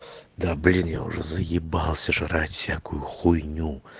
да блин я уже заебался жрать всякую хуйню